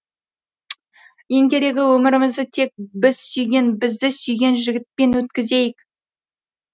ең керегі өмірімізді тек біз сүйген бізді сүйген жігітпен өткізейік